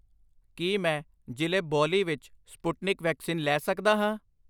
ਕੀ ਮੈਂ ਜ਼ਿਲ੍ਹੇ ਬੋਲੀ ਵਿੱਚ ਸਪੁਟਨਿਕ ਵੈਕਸੀਨ ਲੈ ਸਕਦਾ ਹਾਂ?